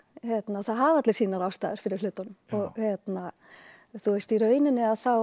það hafa allir sínar ástæður fyrir hlutunum og hérna þú veist í rauninni